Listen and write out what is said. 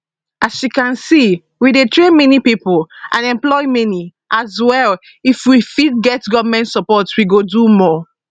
as you can see we dey train many pipo and employ many as well if we fit get goment support we go do more